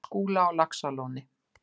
Skúla á Laxalóni.